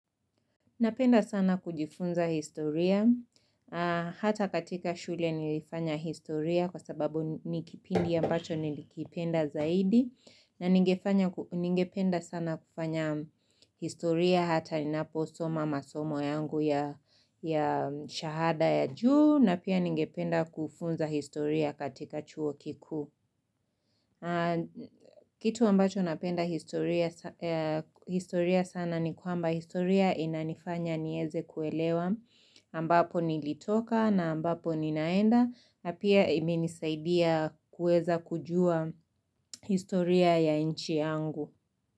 Napenda sana kujifunza historia, hata katika shule nilifanya historia kwa sababu ni kipindi ambacho nilikipenda zaidi na ningependa sana kufanya historia hata ninaposoma masomo yangu ya shahada ya juu na pia ningependa kufunza historia katika chuo kikuu kitu ambacho napenda historia sana ni kwamba historia inanifanya niweze kuelewa ambapo nilitoka na ambapo ninaenda na pia imenisaidia kuweza kujua historia ya nchi yangu.